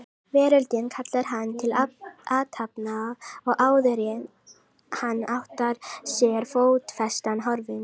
Veröldin kallar hann til athafna og áðuren hann áttar sig er fótfestan horfin.